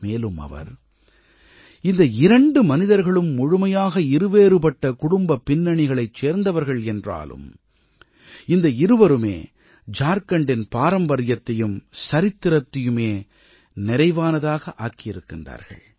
மேலும் அவர் இந்த இரண்டு மனிதர்களும் முழுமையாக இருவேறுபட்ட குடும்பப் பின்னணிகளைச் சேர்ந்தவர்கள் என்றாலும் இந்த இருவருமே ஜார்க்கண்டின் பாரம்பரியத்தையும் சரித்திரத்தையுமே நிறைவானதாக ஆக்கியிருக்கின்றார்கள்